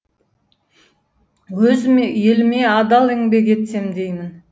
өз еліме адал еңбек етсем деймін